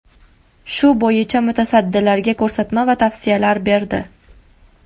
Shu bo‘yicha mutasaddilarga ko‘rsatma va tavsiyalar berdi.